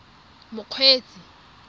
mokgweetsi